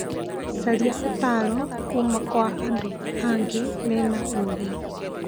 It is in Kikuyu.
Caria ũtaaro kuuma kwa andũ angĩ mena ũũgĩ.